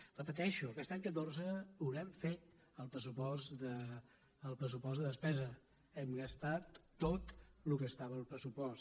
ho repeteixo aquest any catorze haurem fet el pressupost de despesa hem gastat tot el que estava al pressupost